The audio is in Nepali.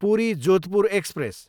पुरी, जोधपुर एक्सप्रेस